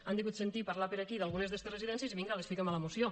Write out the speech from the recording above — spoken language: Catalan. han degut sentir parlar per aquí d’algunes d’estes residències i vinga les fiquen a la moció